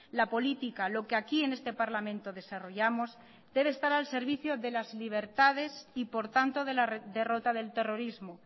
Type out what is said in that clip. la política lo que aquí en este parlamento desarrollamos debe estar al servicio de las libertades y por tanto de la derrota del terrorismo